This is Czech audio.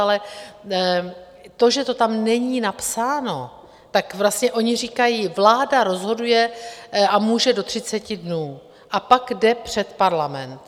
Ale to, že to tam není napsáno, tak vlastně oni říkají, vláda rozhoduje a může do 30 dnů a pak jde před Parlament.